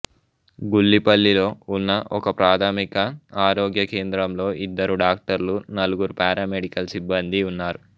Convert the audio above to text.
గుల్లిపల్లిలో ఉన్న ఒకప్రాథమిక ఆరోగ్య కేంద్రంలో ఇద్దరు డాక్టర్లు నలుగురు పారామెడికల్ సిబ్బందీ ఉన్నారు